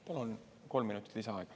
Palun kolm minutit lisaaega.